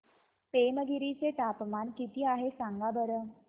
पेमगिरी चे तापमान किती आहे सांगा बरं